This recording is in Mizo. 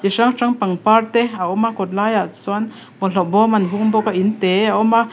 chu hrang hrang pangpar te a awm a kawt lai ah chuan bawlhhlawh bawm an hung bawk a in te a awm a.